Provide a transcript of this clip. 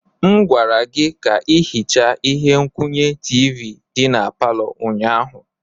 M gwara gị ka ị hichaa ihe nkwụnye tiivi dị na palọ ụnyaahụ.